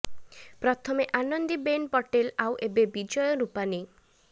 ପ୍ରଥମେ ଆନନ୍ଦୀ ବେନ ପଟେଲ ଆଉ ଏବେ ବିଜୟ ରୁପାନୀ